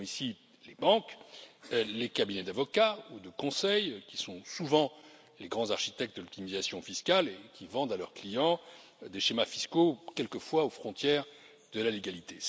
Nous visons ici les banques, les cabinets d'avocats ou de conseil, qui sont souvent les grands architectes de l'optimisation fiscale et qui vendent à leurs clients des schémas fiscaux quelquefois aux frontières de la légalité.